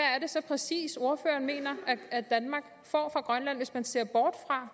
er det så præcis ordføreren mener at danmark får fra grønland hvis man ser bort fra